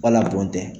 Wala bɔn tɛ